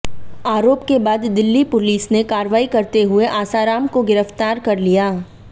आरोप के बाद दिल्ली पुलिस ने कार्रवाई करते हुए आसाराम को गिरफ्तार कर लिया